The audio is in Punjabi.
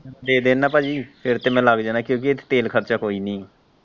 ਦੇ ਦੇਣ ਨਾ ਪਾਜੀ ਫਿਰ ਤੇ ਮੈਂ ਲੱਗ ਜਾਣਾ ਕਿਉਂਕਿ ਇਹਦੇ ਚ ਤੇਲ ਖਰਚਾ ਕੋਈ ਨਹੀਂ ਹੈ।